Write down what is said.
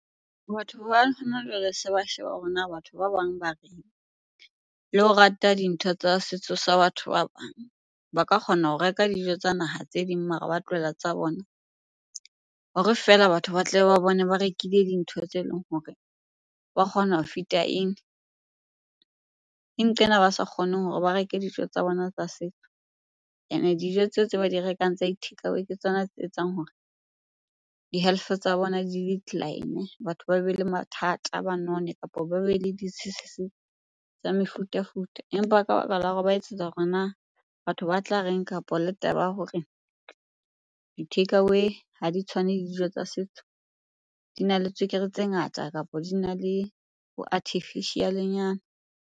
Batho ba hona jwale se ba sheba hore na batho ba bang ba reng? Le ho rata dintho tsa setso sa batho ba bang. Ba ka kgona ho reka dijo tsa naha tse ding mare ba tlohela tsa bona hore fela batho ba tla ba bone ba rekile dintho tse leng hore ba kgona ho fit-a in. Ke nqena ba sa kgoneng hore ba reke dijo tsa bona tsa setso. Ene dijo tseo tse ba di rekang tsa di-takeaway ke tsona tse etsang hore di-health-e tsa bona di decline, batho ba be le mathata, ba none kapo ba be le tsa mefutafuta. Empa ka baka la hore ba etsetsa hore na batho ba tla reng? Kapo le taba ya hore di-takeaway ha di tshwane le dijo tsa setso, dina le tswekere tse ngata kapo dina le bo artificial-e nyana.